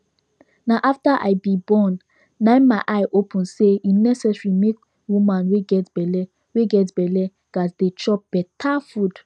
na after i be born na my eye open say e necesary make woman wey get belle wey get belle gats dey chop beta food